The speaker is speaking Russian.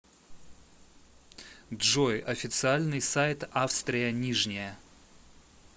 джой официальный сайт австрия нижняя